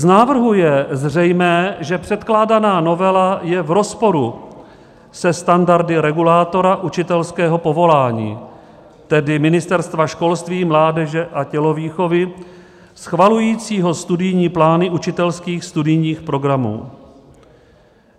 Z návrhu je zřejmé, že předkládaná novela je v rozporu se standardy regulátora učitelského povolání, tedy Ministerstva školství, mládeže a tělovýchovy schvalujícího studijní plány učitelských studijních programů.